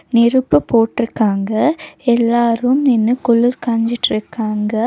நெருப்பு போட்ருக்காங்க எல்லாரும் நின்னு குளூர் காஞ்சிட்ருக்காங்க.